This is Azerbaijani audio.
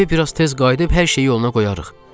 Evə biraz tez qayıdıb hər şeyi yoluna qoyarıq.